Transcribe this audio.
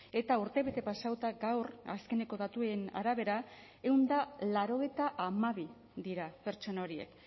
eta urtebete pasatuta gaur azkeneko datuen arabera ehun eta laurogeita hamabi dira pertsona horiek